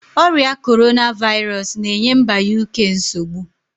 Oria Korona vairosu na-enye mba Uk nsogbu